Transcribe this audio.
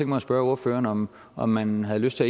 mig at spørge ordføreren om om man har lyst til